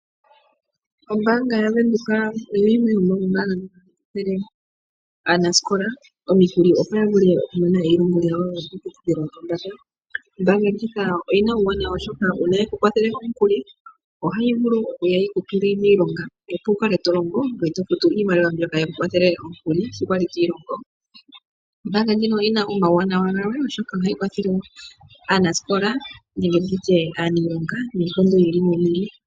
Ombaanga yaVenduka oyo yimwe yomoombanga ndhono hadhi kwathele aanasikola omikuli opo yavule okumona elongo lyawo lyo kiiputudhilo yopombanda. ombaanga ndjika oyina omawunawa oshoka uuna yekukwathele omukuli ohayi vulu woo oku kutula miilonga opo wukale tolongo ngoye tofutu iimaliwa mbyoka yeku kwathela yikupe omukuli sho kwali twiilongo. Ombaanga ndjino oyina omawunawa oshoka ohayi kwathele aanasikola nenge aaniilonga miikondo yi ili noyi ili.